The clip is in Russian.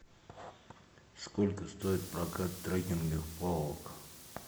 сколько стоит прокат трекинговых палок